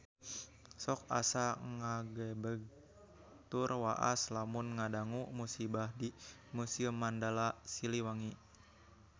Sok asa ngagebeg tur waas lamun ngadangu musibah di Museum Mandala Siliwangi